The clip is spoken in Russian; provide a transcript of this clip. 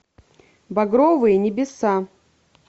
багровые небеса